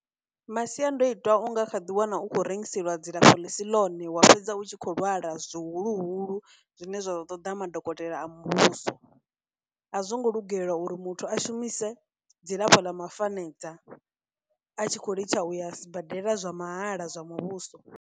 Masiandoitwa u nga kha ḓi wana u khou rengiselwa dzilafho ḽi si ḽone wa fhedza u tshi khou lwala zwihuluhulu zwine zwa ḓo ṱoḓa madokotela a muvhuso, a zwo ngo lugela uri muthu a shumise dzilafho ḽa mafanedza a tshi khou litsha uya sibadela zwa mahala zwa muvhuso.